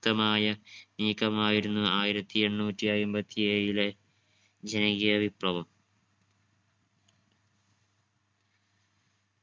ക്തമായ നീക്കമായിരുന്നു ആയിരത്തി എണ്ണൂറ്റി അയ്മ്പത്തി ഏഴിലെ ജനകീയ വിപ്ലവം